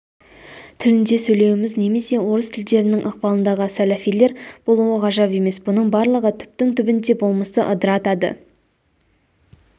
тілінде сөйлеуіміз немесе орыс тілділердің ықпалындағы сәләфилер болуы ғажап емес бұның барлығы түптің-түбінде болмысты ыдыратады